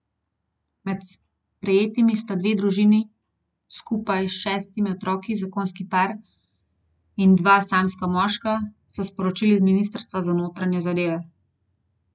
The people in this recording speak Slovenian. Med sprejetimi sta dve družini s skupaj šestimi otroki, zakonski par in dva samska moška, so sporočili z ministrstva za notranje zadeve.